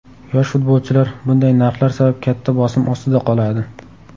Yosh futbolchilar bunday narxlar sabab katta bosim ostida qoladi.